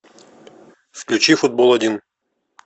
включи футбол один